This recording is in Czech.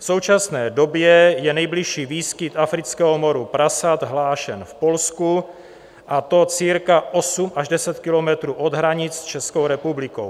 V současné době je nejbližší výskyt afrického moru prasat hlášen v Polsku, a to cirka 8 až 10 kilometrů od hranic s Českou republikou.